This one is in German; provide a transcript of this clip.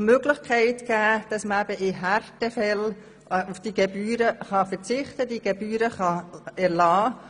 Möglichkeit schaffen, in Härtefällen auf die Gebühren zu verzichten beziehungsweise diese zu erlassen.